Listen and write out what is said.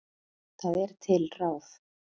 Það er til ráð.